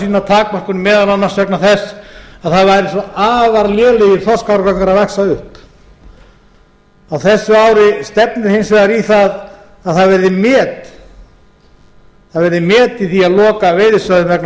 sína takmörkun meðal annars vegna þess að það væru svo afar lélegir þorskárgangar að vaxa upp á þessu ári stefnir hins vegar í það að það verði met í því að loka veiðisvæðum vegna smáþorsks